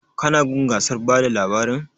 Ka na gun gasar bada labarin?